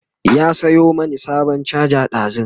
ya Sayo mani sabon charger ɗazun